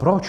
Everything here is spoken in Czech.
Proč?